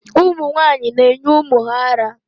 Ụmụ nwaanyị ga-enye ụmụ ha ara